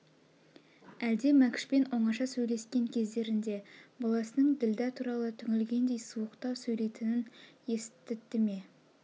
әлде мәкшпен оңаша сөйлескен кездернде баласының ділдә туралы түңілгендей суықтау сөйлейтнін естті ме